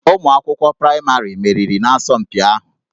Ụmụ akwụkwọ praịmarị meriri n'asọmpi ahụ